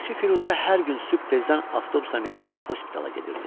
Çörəkçi Firuzə hər gün sübh tezdən avtobusa minib hospitala gedirdi.